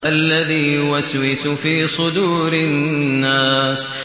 الَّذِي يُوَسْوِسُ فِي صُدُورِ النَّاسِ